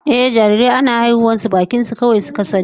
Ehh, jarirai ana haihuwar su bakin su kawai suka sani